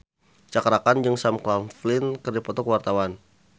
Cakra Khan jeung Sam Claflin keur dipoto ku wartawan